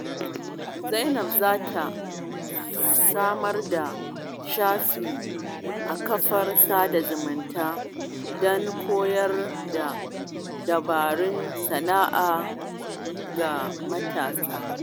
Zainab za ta samar da shafi a kafar sada zumunta don koyar da dabarun sana'a ga matasa.